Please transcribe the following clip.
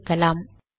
முடிக்கலாம்